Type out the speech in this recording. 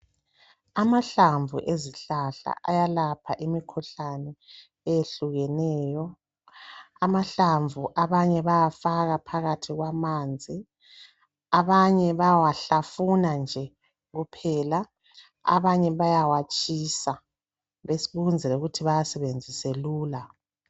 Amahlamvu ezihlahla ayelapha imikhuhlane eyehlukeneyo. Abanye bawafaka phakathi kwamanzi, bayawahlafuna kumbe bawatshise ukwenzela ukuthi bawasebenzise lula.